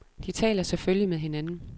De taler selvfølgelig med hinanden.